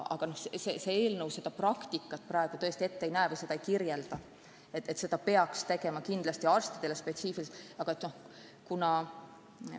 Aga see eelnõu seda praktikat ette ei näe ega sätesta, et seda peab kindlasti arstidele eraldi organiseerima.